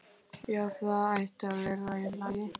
Já, það ætti að vera í lagi.